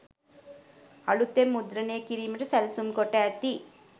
අලුතෙන් මුද්‍රණය කිරීමට සැලසුම් කොට ඇති